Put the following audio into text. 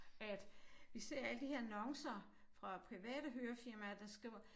At vi ser alle de her annoncer fra private hørefirmaer der skriver